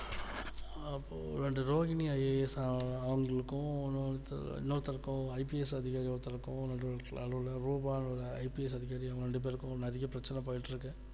அப்போ இந்த ரோகினி IAS அவங்களுக்கும் இன்னொருத்தருக்கும் IPS அதிகாரி ஒருத்தருக்கும் நடுல ரூபானு ஒரு IPS அதிகாரி ரெண்டு பேருக்கும் நிறைய பிரச்சனை போயிட்டு இருக்கு